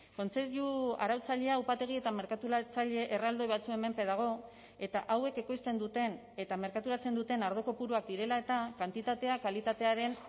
kontseilu arautzailea upategi eta merkaturatzaile erraldoi batzuen menpe dago eta hauek ekoizten duten eta merkaturatzen duten ardo kopuruak direla eta kantitatea kalitatearen